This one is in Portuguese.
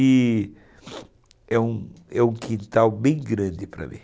E é um é um quintal bem grande para mim.